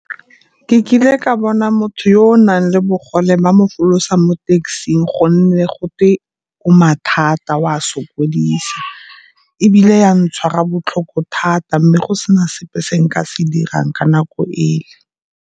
Ke kile ka bona motho yo o nang le bogole ba mo folosa mo taxi-ng gonne gotwe o mathata o a sokodisa, ebile ya ntshwara botlhoko thata mme go se na sepe se nka se dirang ka nako ele.